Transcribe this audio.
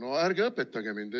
No ärge õpetage mind!